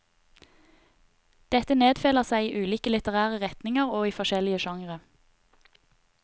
Dette nedfeller seg i ulike litterære retninger og i forskjellige sjangre.